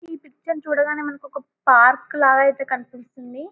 ఈ పిక్చర్ ని చూడగానే మనకు పార్క్ లాగా అయితే కనిపిస్తుంది --